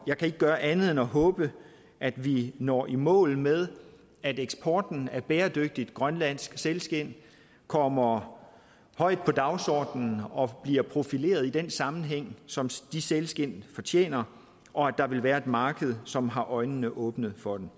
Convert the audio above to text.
jeg kan ikke gøre andet end at håbe at vi når i mål med at eksporten af bæredygtigt grønlandsk sælskind kommer højt på dagsordenen og bliver profileret i den sammenhæng som de sælskind fortjener og at der vil være et marked som har øjnene åbne for dem